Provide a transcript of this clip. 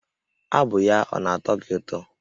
Abụ ya ọ na-atọ gị ụtọ?